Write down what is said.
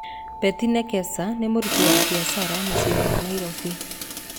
Betĩ Nekesa nĩ mũruti wa biacara mũcĩinĩ wa Nairobi.